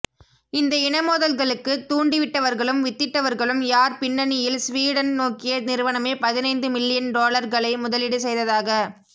இந்த இனமோதல்களுக்கு தூண்டிவிட்டவர்களும் வித்திட்டவர்களும் யார் பிண்னணியில் சுவீடன் நோக்கிய நிறுவனமே பதினைந்து மில்லியன் டொலர்களை முதலீடுசெய்ததாக